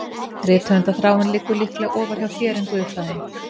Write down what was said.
Rithöfundarþráin liggur líklega ofar hjá þér en guðfræðin